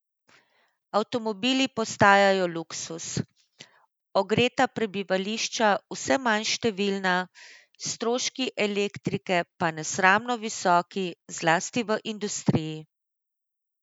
Avtomobili postajajo luksuz, ogreta prebivališča vse manj številna, stroški elektrike pa nesramno visoki, zlasti v industriji.